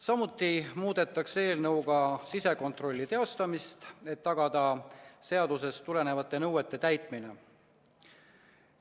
Samuti muudetakse eelnõuga sisekontrolli teostamist, et tagada seadusest tulenevate nõuete täitmine.